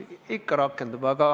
Ikka rakendub!